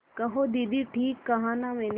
कहो दीदी ठीक कहा न मैंने